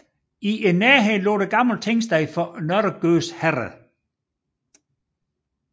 I nærheden lå det gamle tingsted for Nørre Gøs Herred